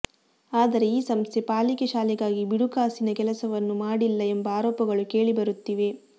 ಆದರೆ ಈ ಸಂಸ್ಥೆ ಪಾಲಿಕೆ ಶಾಲೆಗಾಗಿ ಬಿಡುಗಾಸಿನ ಕೆಲಸವನ್ನು ಮಾಡಿಲ್ಲ ಎಂಬ ಆರೋಪಗಳು ಕೇಳಿಬರುತ್ತಿವೆ